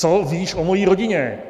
Co víš o mojí rodině?